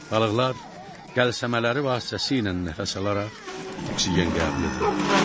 Balıqlar qəlsəmələri vasitəsilə nəfəs alaraq oksigen qəbul edirlər.